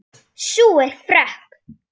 Sú er frökk!